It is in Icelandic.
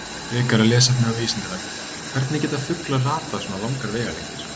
Frekara lesefni á Vísindavefnum: Hvernig geta fuglar ratað svona langar vegalengdir?